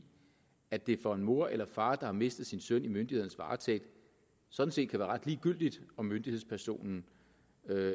at det for en mor eller far der har mistet sin søn i myndighedernes varetægt sådan set kan være ret ligegyldigt om myndighedspersonen